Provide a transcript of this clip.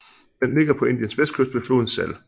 Den ligger på Indiens vestkyst ved floden Sal